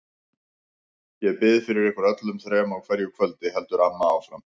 Ég bið fyrir ykkur öllum þrem á hverju kvöldi, heldur amma áfram.